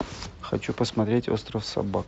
хочу посмотреть остров собак